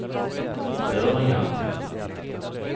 början